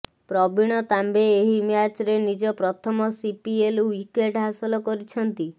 ପ୍ରବୀଣ ତାମ୍ବେ ଏହି ମ୍ୟାଚ୍ରେ ନିଜ ପ୍ରଥମ ସିପିଏଲ୍ ଓ୍ୱିକେଟ୍ ହାସଲ କରିଛନ୍ତି